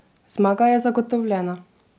Zmaga je zagotovljena!